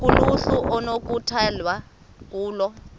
kuluhlu okunokukhethwa kulo